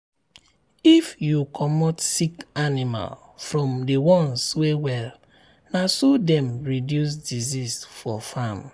if you comot sick animal from the ones wey well na so dem reduce disease for farm.